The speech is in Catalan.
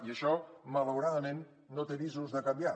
i això malauradament no té visos de canviar